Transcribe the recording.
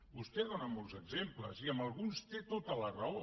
vostè en dóna molts exemples i en alguns té tota la raó